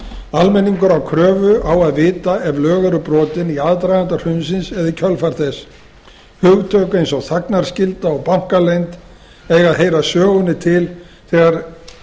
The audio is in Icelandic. almenningur á kröfu á að vita ef lög voru brotin í aðdraganda hrunsins eða í kjölfar þess hugtök eins og þagnarskylda og bankaleynd eiga að heyra sögunni til þegar